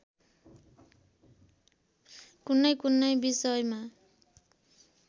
कुनैकुनै विषयमा